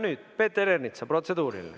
Nüüd Peeter Ernitsal protseduuriline.